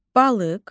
Balıq.